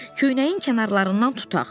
Köynəyin kənarlarından tutaq.